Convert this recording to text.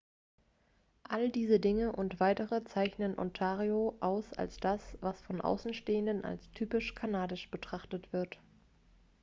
all diese dinge und weitere zeichnen ontario aus als das was von außenstehenden als typisch kanadisch betrachtet wird